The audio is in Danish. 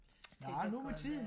det kan godt være